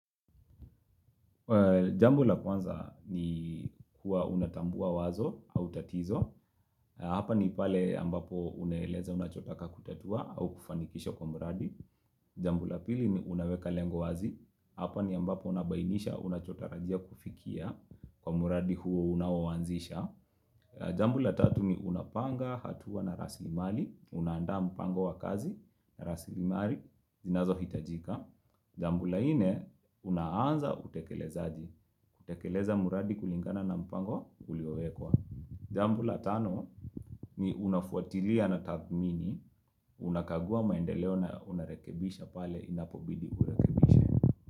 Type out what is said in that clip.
Jambo la kwanza ni kuwa unatambua wazo au tatizo. Hapa ni pale ambapo unaeleza unachotaka kutatua au kufanikisha kwa mradi. Jambo la pili ni unaweka lengo wazi. Hapa ni ambapo unabainisha unachotarajia kufikia kwa mradi huo unaoanzisha. Jambo la tatu ni unapanga hatua na rasilimali Unaanda mpango wa kazi rasilimali zinazohitajika. Jambo la nne, unaanza utekelezaji. Kutekeleza mradi kulingana na mpango uliowekwa Jambo la tano ni unafuatilia na tathmini Unakagua maendeleo na unarekebisha pale inapobidi urekebishe.